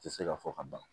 Tɛ se ka fɔ ka ban